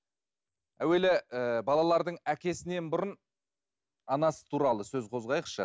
әуелі ы балалардың әкесінен бұрын анасы туралы сөз қозғайықшы